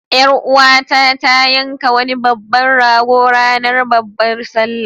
Ƴar uwata ta yanka wani babban rago ranar babbar sallah.